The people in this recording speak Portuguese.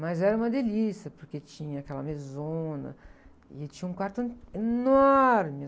Mas era uma delícia, porque tinha aquela mesona e tinha um quarto, ãh, enorme.